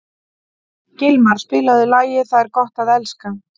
Gilmar, spilaðu lagið „Það er gott að elska“.